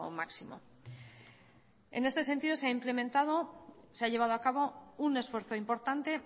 máximo en este sentido se ha implementado se ha llevado a cabo un esfuerzo importante